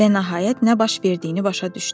Və nəhayət nə baş verdiyini başa düşdü.